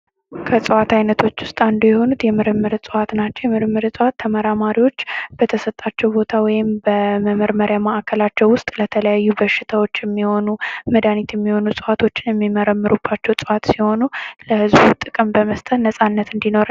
ከእጽዋት አይነቶች ውስጥ አንዱ የሆኑት የምርምር እጽዋት ናቸው የምርምር እዋፅት ተመራማሪዎች በተሰጣቸው ቦታ ወይም ምርመራ ማዕከል ለተለያዩ በሽታዎች የሚሆነው መዳኒት የሚሆኑ እጽዋቶችን የሚመረምሩባቸው እጽዋት ሲሆኑ ለህዝቡ ጥቅም በመስጠት ነፃነትን እንዲኖር